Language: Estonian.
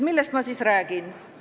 Millest ma siis räägin?